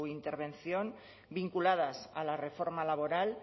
intervención vinculadas a la reforma laboral